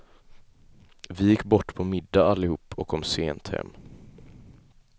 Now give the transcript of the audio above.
Vi gick bort på middag allihop och kom sent hem.